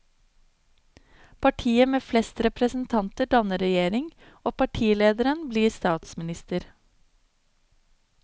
Partiet med flest representanter danner regjering, og partilederen blir statsminister.